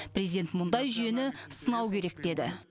президент мұндай жүйені сынау керек деді